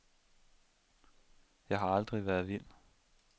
Jeg har aldrig været vild.